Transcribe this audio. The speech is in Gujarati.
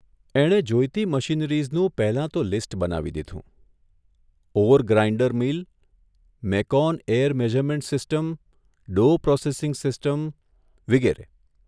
એણે જોઇતી મશીનરીઝનું પહેલા તો લિસ્ટ બનાવી દીધુંઃ ore grinder mill, Mecon air measurement system, dough processing system, વિગેરે